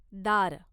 दार